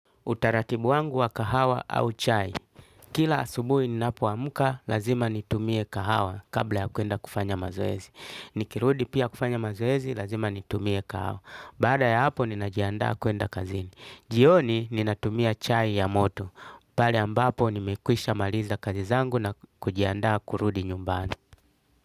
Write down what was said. Utaratibu wangu wa kahawa au chai. Kila asubuhi ninapoamka lazima nitumie kahawa kabla ya kwenda kufanya mazoezi. Nikirudi pia kufanya mazoezi lazima nitumie kahawa. Baada ya hapo ninajiandaa kwenda kazini. Jioni ninatumia chai ya moto. Pale ambapo nimekwishamaliza kazi zangu nakujiandaa kurudi nyumbani.